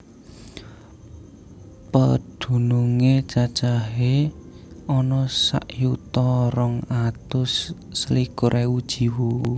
Pedunungé cacahé ana sak yuta rong atus selikur ewu jiwa